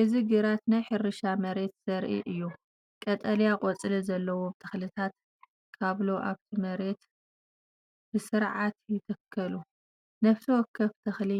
እዚ ግራት ናይ ሕርሻ መሬት ዘርኢ እዩ። ቀጠልያ ቆጽሊ ዘለዎም ተኽልታት ካብሎ ኣብቲ መሬት ብስርዓት ይትከሉ። ነፍሲ ወከፍ ተኽሊ